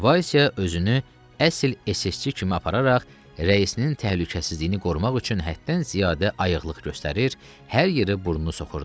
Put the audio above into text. Vaysə özünü əsl SS-çi kimi apararaq, rəisinin təhlükəsizliyini qorumaq üçün həddən ziyadə ayıqlıq göstərir, hər yeri burnunu soxurdu.